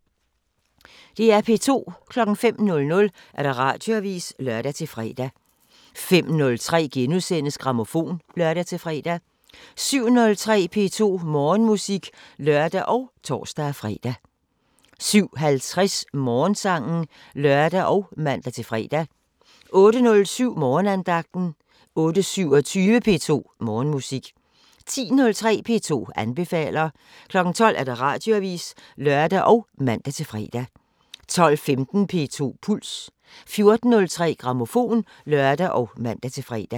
05:00: Radioavisen (lør-fre) 05:03: Grammofon *(lør-fre) 07:03: P2 Morgenmusik (lør og tor-fre) 07:50: Morgensangen (lør og man-fre) 08:07: Morgenandagten 08:27: P2 Morgenmusik 10:03: P2 anbefaler 12:00: Radioavisen (lør og man-fre) 12:15: P2 Puls 14:03: Grammofon (lør og man-fre)